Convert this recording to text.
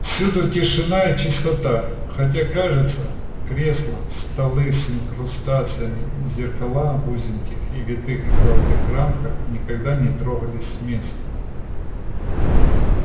всюду тишина и чистота хотя кажется кресла столы с инкрустациями и зеркала в узеньких и витых золотых рамках никогда не трогались с места